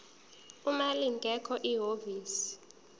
uma lingekho ihhovisi